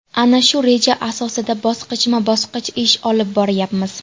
Ana shu reja asosida bosqichma-bosqich ish olib boryapmiz.